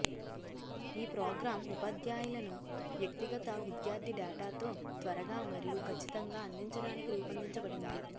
ఈ ప్రోగ్రామ్ ఉపాధ్యాయులను వ్యక్తిగత విద్యార్థి డేటాతో త్వరగా మరియు కచ్చితంగా అందించడానికి రూపొందించబడింది